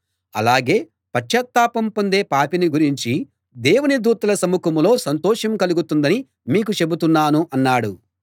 అలాగే పశ్చాత్తాపం పొందే పాపిని గురించి దేవుని దూతల సముఖంలో సంతోషం కలుగుతుందని మీకు చెబుతున్నాను అన్నాడు